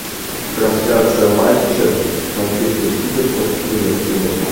трансляция матча манчестер сити против ливерпуля